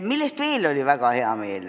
Mille üle veel oli väga hea meel?